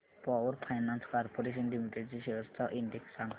power finance corporation limited shares चा index सांगा